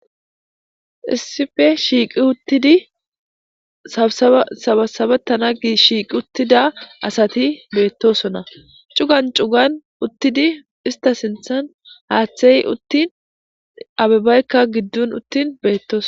Issife shiiqi uttidi sabasabata na gi shiiqi uttida asati beettosona cugan cugan uttidi ista sinthan haaththey uttin abibaykka giddun uttin beettos